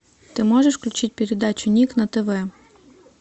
ты можешь включить передачу ник на тв